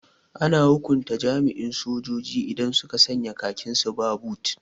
Ana hukunta jami'an sojoji idan suka sanya khakin su ba bot